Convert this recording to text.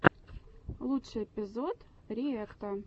лучший эпизод риэкта